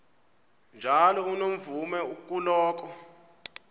njalo unomvume kuloko